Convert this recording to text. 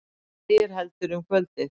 Lægir heldur um kvöldið